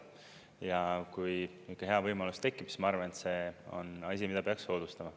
Ja kui ikka hea võimalus tekib, siis ma arvan, et see on asi, mida peaks soodustama.